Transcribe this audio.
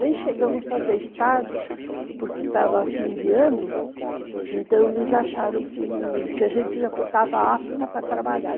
Nem chegamos a fazer estágio, porque estava fim de ano, então eles acharam que a gente já estava apta para trabalhar.